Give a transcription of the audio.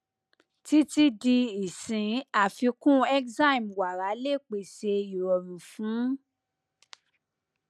titi di isin afikun enzyme wara le pese irọ̀run fun